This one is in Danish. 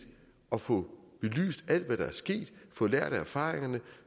at få belyst alt hvad der er sket få lært af erfaringerne